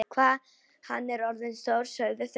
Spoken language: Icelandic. Hvað hann er orðinn stór, sögðu þau.